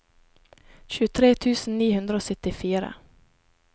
tjuetre tusen ni hundre og syttifire